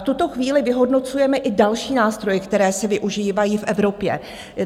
V tuto chvíli vyhodnocujeme i další nástroje, které se využívají v Evropě.